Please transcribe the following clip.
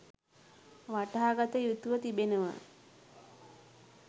වටහා ගත යුතුව තිබෙනවා.